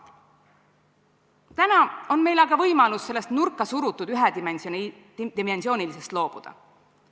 Täna on meil aga võimalus sellisest nurkasurutusest, ühedimensioonilisusest loobuda.